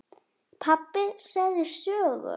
Pabbi segðu sögu.